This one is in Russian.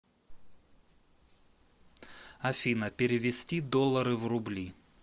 афина перевести доллары в рубли